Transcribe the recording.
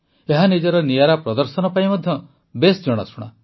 ଏହା ନିଜର ନିଆରା ପ୍ରଦର୍ଶନ ପାଇଁ ମଧ୍ୟ ବେଶ୍ ଜଣାଶୁଣା